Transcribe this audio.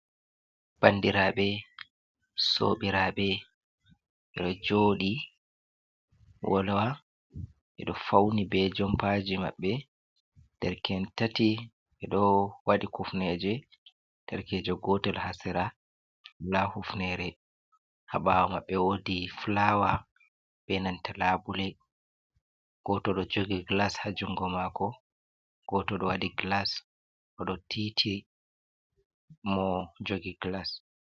Bandiraaɓe, soobiraaɓe ɓe ɗo jooɗi wolwati, ɓe ɗo fauni be jompaji maɓɓe, der ken en tati ɓe ɗo waɗi kufneje, derkejo gotel ha sera wola hufnere, ha ɓawo maɓɓe wodi fulawa be nanta labule, gooto ɗo jogi gilas ha jungo maako gooto ɗo waɗi gilas oɗo tiiti mo jogi gilas.